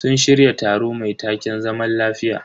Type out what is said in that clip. Sun shirya taro mai taken "zaman lafiya".